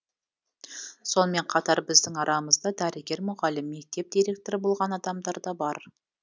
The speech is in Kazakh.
сонымен қатар біздің арамызда дәрігер мұғалім мектеп директоры болған адамдар да бар